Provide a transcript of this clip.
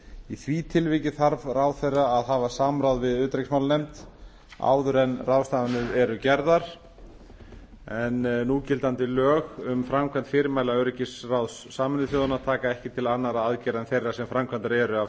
í því tilviki þarf ráðherra að hafa samráð við utanríkismálanefnd áður en ráðstafanirnar eru gerðar en núgildandi lög um framkvæmd fyrirmæla öryggisráðs sameinuðu þjóðanna taka ekki til annarra aðgerða en þeirra sem framkvæmdar eru af